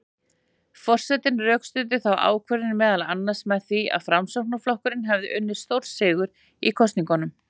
Forsetinn rökstuddi þá ákvörðun meðal annars með því að Framsóknarflokkurinn hefði unnið stórsigur í kosningunum.